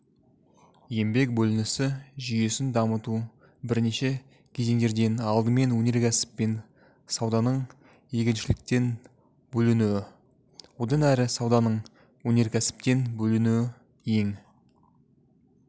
еңбек бөлінісі жүйесін дамыту бірнеше кезеңдерден алдымен өнеркәсіп пен сауданың егіншіліктен бөлінуі одан әрі сауданың өнеркәсіптен бөлінуі ең